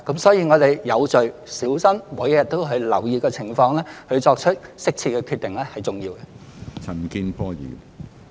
所以，我們要有序、小心地，每日留意情況並作出適切的決定，這是重要的。